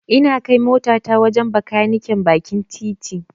Ina kai motata wajen Bakaniken bakin titi.